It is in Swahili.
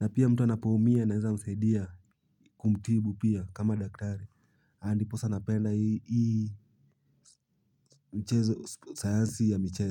Na pia mtu anapoumia nasaidia kumtibu pia kama daktari, ndiposa napenda hii mchezo, sayansi ya michezo.